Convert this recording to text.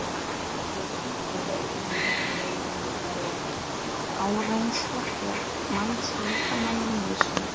Hreyfing og áreynsla er mannslíkamanum nauðsyn.